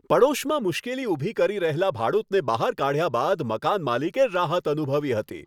પડોશમાં મુશ્કેલી ઊભી કરી રહેલા ભાડૂતને બહાર કાઢ્યા બાદ મકાન માલિકે રાહત અનુભવી હતી.